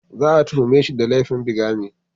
Za a tuhume shi da laifin bigamy.